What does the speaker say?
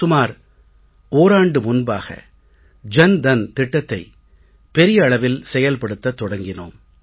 சுமார் ஓராண்டு முன்பாக ஜன் தன் திட்டத்தை பெரிய அளவில் செயல்படுத்தத் தொடங்கினோம்